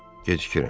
Gecikirəm.